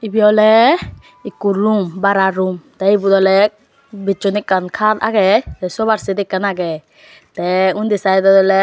ibe awle ekko room bara room tey ibot awle bijson ekkan kat agey te sobarset ekkan agey tey undi saidot awley.